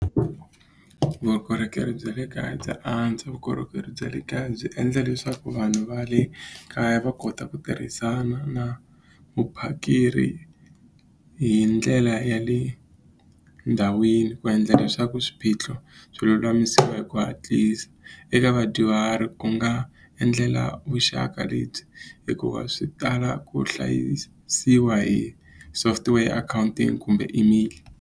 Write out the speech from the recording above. Vukorhokeri bya le kaya bya antswa vukorhokeri bya le kaya byi endla leswaku vanhu va le kaya va kota ku tirhisana na vuphakeri hi ndlela ya le ndhawini ku endla leswaku swiphiqo swi lulamisiwa hi ku hatlisa eka vadyuhari ku nga endlela vuxaka lebyi hikuva swi tala ku hlayisiwa hi software account-i kumbe email.